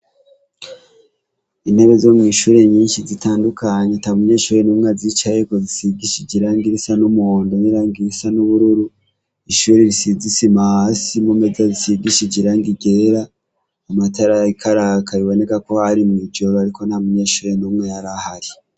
Intebe zo mwishure nyinshi zitandukanye atamunyeshure numwe azicayeko zisigishije irangi risa numuhondo nirangi risa nubururu ishure risize isima hasi imeza zisize irangi ryera amatara ariko araka biboneka kwari mwijoro ariko ntamunyeshure numwe yarahari